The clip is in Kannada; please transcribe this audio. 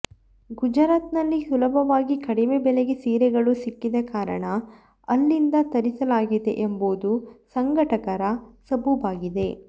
ಗುಜರಾತ್ ನಲ್ಲಿ ಸುಲಭವಾಗಿ ಕಡಿಮೆ ಬೆಲೆಗೆ ಸೀರೆಗಳು ಸಿಕ್ಕಿದ ಕಾರಣ ಅಲ್ಲಿಂದ ತರಿಸಲಾಗಿದೆ ಎಂಬುದು ಸಂಘಟಕರ ಸಬೂಬಾಗಿದೆ